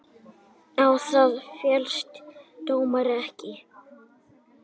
Þeim er sem sagt líka heimilt að sækja sitt fé hingað heim.